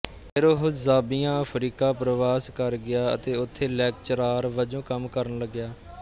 ਫਿਰ ਉਹ Zambia Africa ਪਰਵਾਸ ਕਰ ਗਿਆ ਅਤੇ ਉਥੇ ਲੈਕਚਰਾਰ ਵਜੋਂ ਕੰਮ ਕਰਨ ਲੱਗਿਆ